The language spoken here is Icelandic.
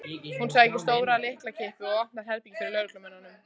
Hún sækir stóra lyklakippu og opnar herbergið fyrir lögreglumönnunum.